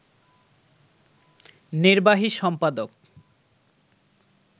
নির্বাহী সম্পাদক